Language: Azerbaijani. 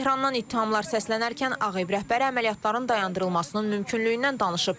Tehrandan ittihamlar səslənərkən Ağ Ev rəhbəri əməliyyatların dayandırılmasının mümkünlüyündən danışıb.